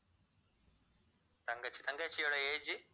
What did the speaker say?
தங்கச்சி, தங்கச்சியோட age